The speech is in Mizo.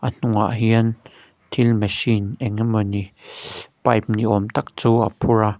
a hnungah hian thil machine eng emawni shh pipe ni awm tak chu a phur a.